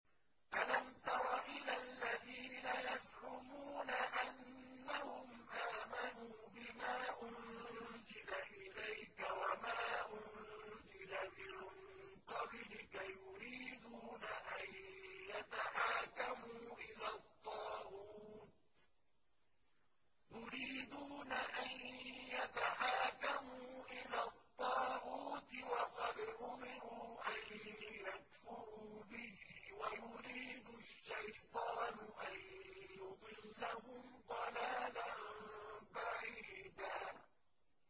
أَلَمْ تَرَ إِلَى الَّذِينَ يَزْعُمُونَ أَنَّهُمْ آمَنُوا بِمَا أُنزِلَ إِلَيْكَ وَمَا أُنزِلَ مِن قَبْلِكَ يُرِيدُونَ أَن يَتَحَاكَمُوا إِلَى الطَّاغُوتِ وَقَدْ أُمِرُوا أَن يَكْفُرُوا بِهِ وَيُرِيدُ الشَّيْطَانُ أَن يُضِلَّهُمْ ضَلَالًا بَعِيدًا